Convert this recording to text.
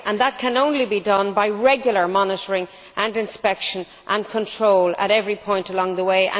That can only be done by regular monitoring, inspection and control at every point along the way.